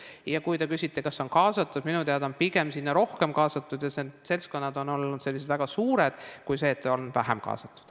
Ja kui te küsite, kas on kaasatud, siis minu teada on pigem rohkem kaasatud ja need seltskonnad on olnud väga suured, kui see, et on olnud vähe kaasatud.